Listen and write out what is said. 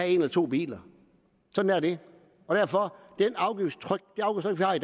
en eller to biler sådan er det og derfor